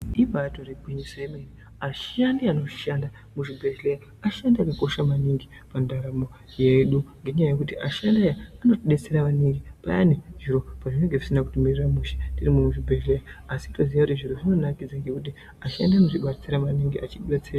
Ibaitori gwinyiso ye mene ashandi ano shanda mu zvibhedhlera ashandi aka kosha maningi pa ndaramo yedu ngenyaa yekuti ashandi aya anoti detsera maningi payani zviro pazvinenge zvisina kuti mirira mushe tiri mu zvibhedhlera asi toziya kuti zviro zvinobai ita ngekuti ashandi anoti detsera maningi echiti detsera.